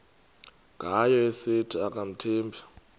ngayo esithi akamthembi